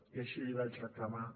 i així l’hi vaig reclamar